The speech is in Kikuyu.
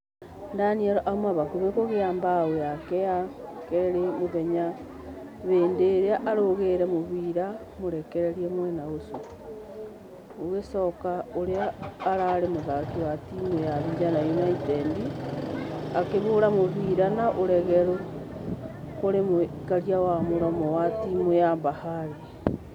Daniel auma hakuhĩ kũgia bao yake ya kerĩ ya mũthenya hĩndĩ ararũgeire mũfira mũrekererie mwena ũcio Gũgicoka ũrĩa ũrarĩ mũthaki wa timũ ya vijana united akĩhora mũfira na ũregeru kũrĩ mũikaria wa mũromo wa timũ ya bahari.